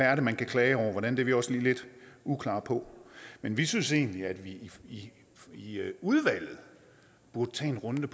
er man kan klage over det er vi også lidt uklare på men vi synes egentlig at vi i udvalget burde tage en runde